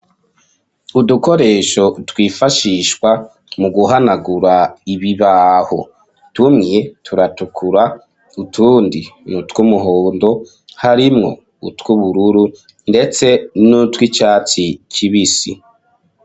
Udukoresho, twifashishwa, mu guhanagura ibibaho; tumwe, turatukura, utundi, ni utw'umuhondo, harimwo utw'ubururu, ndetse n'utw'icatsi kibisi.